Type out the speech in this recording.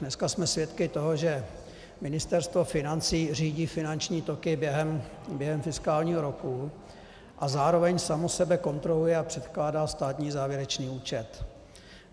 Dneska jsme svědky toho, že Ministerstvo financí řídí finanční toky během fiskálního roku a zároveň samo sebe kontroluje a předkládá státní závěrečný účet.